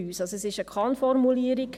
es ist eine Kann-Formulierung.